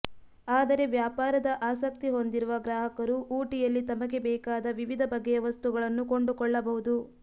ಆದರೆ ವ್ಯಾಪಾರದ ಆಸಕ್ತಿ ಹೊಂದಿರುವ ಗ್ರಾಹಕರು ಊಟಿಯಲ್ಲಿ ತಮಗೆ ಬೇಕಾದ ವಿವಿಧ ಬಗೆಯ ವಸ್ತುಗಳನ್ನು ಕೊಂಡುಕೊಳ್ಳಬಹುದು